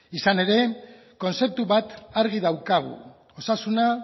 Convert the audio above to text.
izan ere kontzeptu bat argi daukagu osasuna